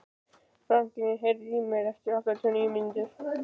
Franklín, heyrðu í mér eftir áttatíu og níu mínútur.